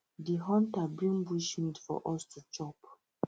di hunter bring bushmeat for us to chop